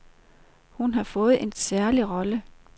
Hun har fået en særlig rolle.